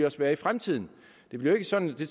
også være i fremtiden det bliver ikke sådan det